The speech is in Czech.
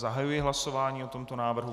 Zahajuji hlasování o tomto návrhu.